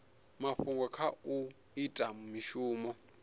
mafhungo kha u ita mishumo